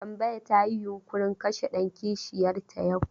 Tambaya ta yi yunƙurin kashe ɗan kishiyar ta yau.